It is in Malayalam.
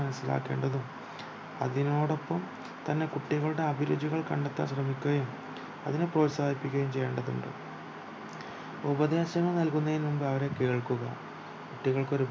മനസിലാക്കേണ്ടതും അതിനോടൊപ്പം തന്നെ കുട്ടികളുടെ അഭ്ജിരുചികൽ കണ്ടെത്താം ശ്രമിക്കുകയും അതിനെ പ്രോത്സാഹിപ്പികുകയും ചെയേണ്ടതുണ്ട് ഉപദേശങ്ങൾ നൽകുന്നതിന് മുൻപ് അവരെ കേൾക്കുക കുട്ടികൾക്ക് ഒര്